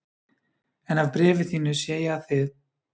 En af bréfi þínu sé ég að þið